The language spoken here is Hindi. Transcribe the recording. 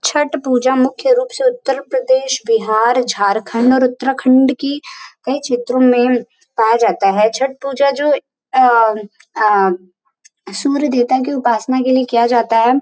छठ पूजा मुख्य रूप से उत्तर प्रदेश बिहार झारखंड और उत्तराखंड की कई क्षेत्रो में पाया जाता है छठ पूजा जो अम्म अम्म सूर्य देवता के उपासना के लिए किया जाता है।